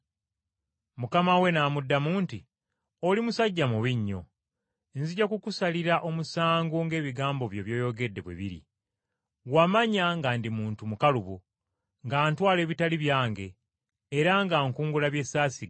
“Mukama we n’amuddamu nti, ‘Oli musajja mubi nnyo! Nzija kukusalira omusango ng’ebigambo byo by’oyogedde bwe biri. Wamanya nga ndi muntu mukalubo, nga ntwala ebitali byange, era nga nkungula bye saasiga,